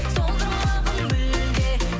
солдырмағын мүлде